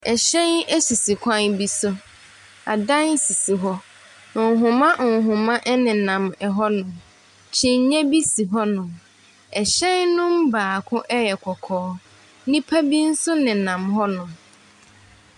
Ɛhyɛn ɛsisi kwan bi so. Adan sisi hɔ. Nhomanhoma ɛnenam ɛhɔ nom. Kyinyɛ bi si hɔ nom. Ɛhyɛn num baako ɛyɛ kɔkɔɔ. Nnipa bi nso nenam hɔ nom.